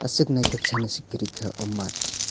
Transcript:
aswk naithok sanase kwrwikha oh math.